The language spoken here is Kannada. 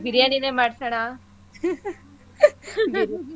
ಬಿರ್ಯಾನಿನೇ ಮಾಡ್ಸಣ .